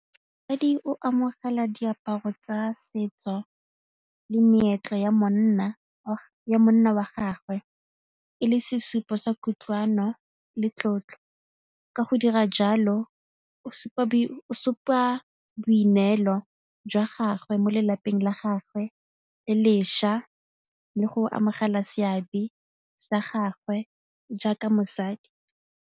A di o amogela diaparo tsa setso le meetlo ya monna wa gagwe e le sesupo sa kutlwano le tlotlo. Ka go dira jalo o supa boineelo jwa gagwe mo lelapeng la gagwe le lešwa le go amogela seabe sa gagwe jaaka mosadi.